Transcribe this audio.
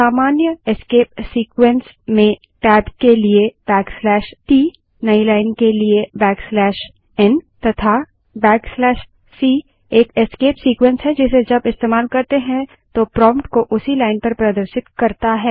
सामान्य escape sequences में tab के लिए t नई लाइन के लिए n तथा c एक एस्केप सीक्वेन्स है जिसे जब इस्तेमाल करते हैं तो प्रोम्प्ट को उसी लाइन पर प्रदर्शित करता है